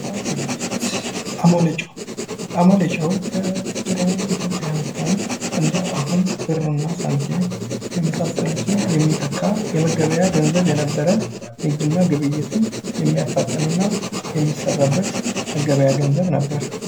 ንግድ እና ግብይት አሞሌ ጨው አሞሌ ጨው በድሮ ኢትዮጵያ ዘመን እንደአሁን ብር እና ሳንቲም የመሳሰሉትን የሚተካ የመገበያያ ገንዘብ የነበረ ንግድ እና ግብይትና የሚያፋጥን እና የሚሰራበት የመገበያያ ገንዘብ ነበር::